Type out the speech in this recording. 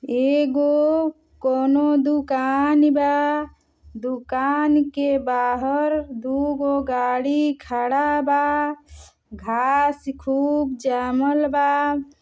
एगो कउनो दुकान बा दुकान के बाहर दुगो गाड़ी खड़ा बा। घास खूब जामल बा।